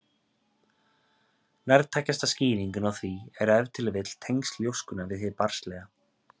Nærtækasta skýringin á því er ef til vill tengsl ljóskunnar við hið barnslega.